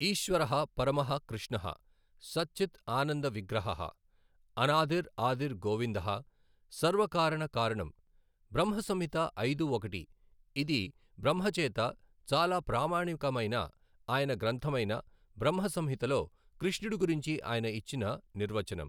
ఈశ్వరః పరమః కృష్ణః సత్ చిత్ ఆనంద విగ్రహః అనాదిర్ ఆదిర్ గోవిందః సర్వ కారణ కారణం, బ్రహ్మ సంహిత ఐదు ఒకటి, ఇది బ్రహ్మ చేత చాలా ప్రామాణిక మైన ఆయన గ్రంథమైన బ్రహ్మ సంహితలో కృష్ణుడి గురించి ఆయన ఇచ్చిన నిర్వచనం.